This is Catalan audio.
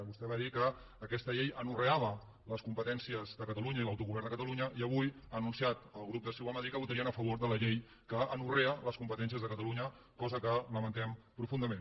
vostè va dir que aquesta llei anorreava les competències de catalunya i l’autogovern de catalunya i avui ha anunciat el grup de ciu a madrid que votarien a favor de la llei que anorrea les competències de catalunya cosa que lamentem profundament